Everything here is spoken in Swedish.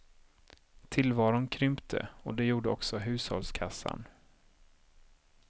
Tillvaron krympte och det gjorde också hushållskassan.